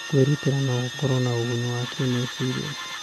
Kwĩrutĩra no gũkorwo na ũguni wa kĩmeciria.